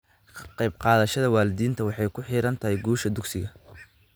Ka qayb qaadashada waalidiinta waxay ku xidhan tahay guusha dugsiga.